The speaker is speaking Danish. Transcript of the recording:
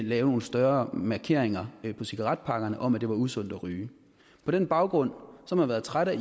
lave nogle større markeringer på cigaretpakkerne om at det var usundt at ryge på den baggrund har man været træt af